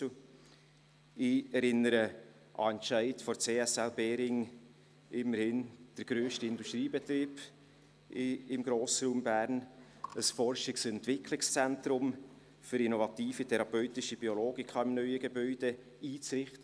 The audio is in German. Ich erinnere an den Entscheid der CSL Behring, immerhin der grösste Industriebetrieb im Grossraum Bern, ein Forschungs- und Entwicklungszentrum für innovative therapeutische Biologika im neuen Gebäude einzurichten.